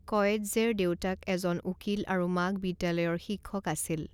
কয়েৎজেৰ দেউতাক এজন উকীল আৰু মাক বিদ্যালয়ৰ শিক্ষক আছিল।